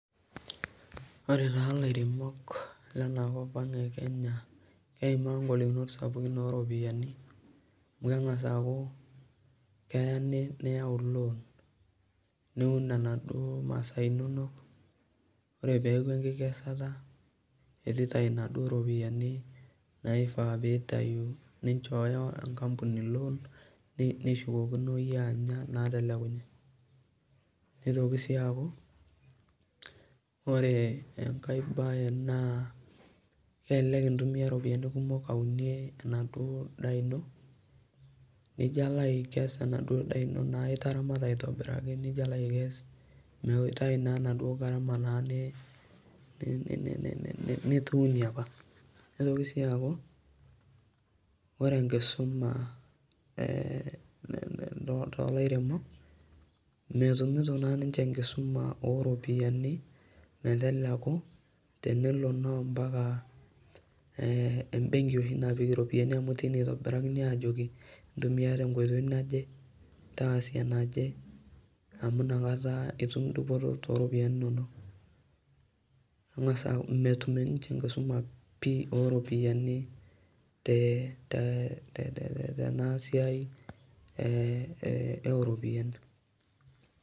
Ore taa lairemok lena kopang e Kenya keimaa ngolikinot sapukin oo ropiyiani amu keng'as aaku keeya niyau loan niun enaduo masaa inonok ore peeku enkikesata etu itai inaduo ropiyiani naifaa piitayu ninchooyo enkampuni nishukokino iyie anya inaatelekunye. Neitoki sii aaku, ore enkae bae naa kelelek intumia iropiyiani kumok aunie enaduo daa ino, nijo alo aikes enaduo daa ino naa itaramata aitobiraki nijo alo aikes mitai naa naduo nena nituunie opa. Nitoki sii aaku ore enkisuma toolairemok, metumito naa ninche enkisuma oo ropiyiani meteleku tenelo naa ompaka embenki oshi napiki iropiyiani amu teine itobirakini aajoki intumia te nkoitoi naje, taasie enaje amu inakata itum dupoto tooropiyiani inonok. Eng'as aaku metum ninche enkisuma pii oo ropiyiani tena siai oo ropiyiani